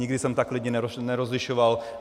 Nikdy jsem tak lidi nerozlišoval.